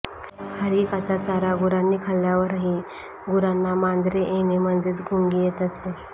हरीकाचा चारा गुरांनी खाल्यावरही खुरांना माजरे येणे म्हणजेच गुंगी येत असे